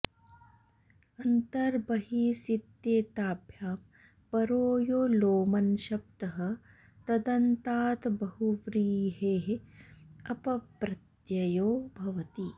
अन्तर् बहिसित्येताभ्यां परो यो लोमन्शब्दः तदन्ताद् बहुव्रीहेः अप् प्रत्ययो भवति